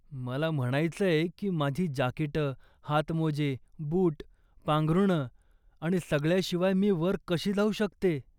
मला म्हणायचंय की माझी जाकीटं, हातमोजे, बूट, पांघरूणं आणि सगळ्याशिवाय मी वर कशी जाऊ शकते?